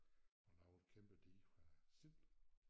At lave lave et kæmpe dige fra Sild